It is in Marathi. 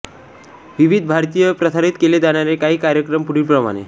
विविध भारतीवर प्रसारित केले जाणारे काही कार्यक्रम पुढीलप्रमाणे